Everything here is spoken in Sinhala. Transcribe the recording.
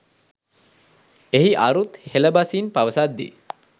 එහි අරුත් හෙළ බසින් පවසද්දී